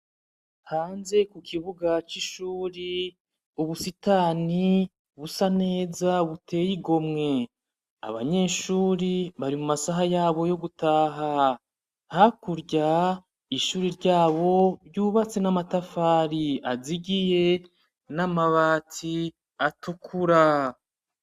Hanze ku kibuga c'ishure ubusitani busa neza buteye igomwe, abanyeshure bari mu masaha yabo yo gutaha, hakurya ishure ryabo ryubatse n'amatafari azigiye n'amabati atukura.